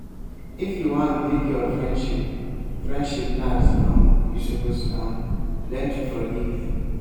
if you wan make your friendship friendship last um you suppose um learn to forgive.